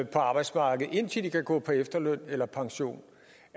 på arbejdsmarkedet indtil de kan gå på efterløn eller pension